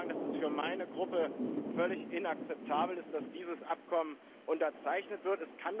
Ich will Ihnen sagen, dass es für meine Gruppe völlig inakzeptabel ist, dass dieses Abkommen unterzeichnet wird.